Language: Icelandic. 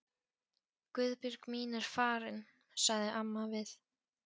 Guðbjörg mín er farin, sagði amma við